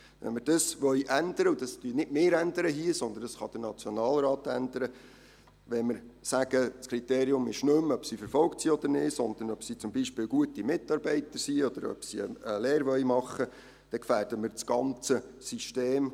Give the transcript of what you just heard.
Wenn man dies ändern will – das würden nicht wir tun, sondern der Nationalrat –, wenn wir sagen, das Kriterium sei nicht mehr, ob jemand verfolgt sei oder nicht, sondern ob er zum Beispiel ein guter Mitarbeiter sei, oder ob einer eine Lehre machen wolle, dann gefährden wir das ganze System.